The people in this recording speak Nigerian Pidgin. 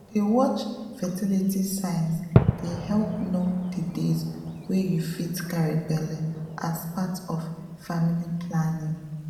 to dey watch fertility signs dey help know the days wey you fit carry belle as part of family planning.